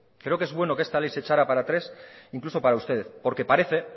creo que es bueno que esta ley se echara para atrás incluso para ustedes porque parece